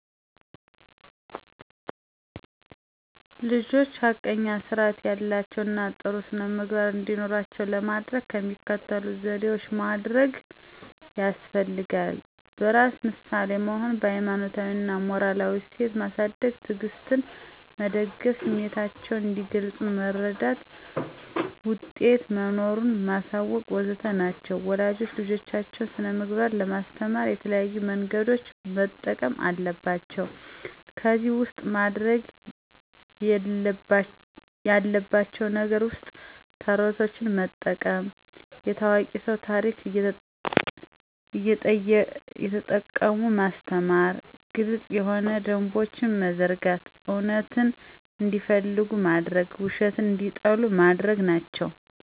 ልጆች ሐቀኛ ስርአት ያላቸው እና ጥሩ ስነምግባር እንዲኖራቸው ለማደረግ የሚከተሉትን ዘዴዎች ማደርግ ያስፈልጋል። በራስ ምሳሌ መሆን፣ በሀይማኖታዊ እና ሞራላዊ እሴት ማሳድግ፣ ትዕግስትን መደገፍ፣ ስሚታቸውን እንዲገልጽ መረዳት፣ ውጤት መኖሩን ማሳወቅ.. ወዘተ ናቸው ወላጆች ልጆቻቸውን ስነምግባር ለማስተማር የተለያዩ መንገዶችን መጠቀም አለባቸው ከዚህ ውስጥ ማድርግ ያለባቸው ነገር ውስጥ ተረቶችን መጠቀም፣ የታዋቂ ስው ታርክ እየተጠቀሙ ማስተማር፣ ግልጽ የሆኑ ደንቦችን መዘርጋት፣ እውነትን እንዲፈልጉ ማድርግ ውሸትን እንዲጠሉ ማድርግ ናቸው።